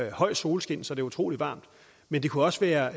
i høj solskin så det er utrolig varmt men det kunne også være